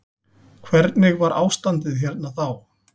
Hvernig var ástandið hérna þá.